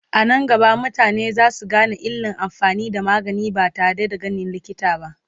anan gaba mutane zasu Gane illan amfani da magani ba tare da ganin likita ba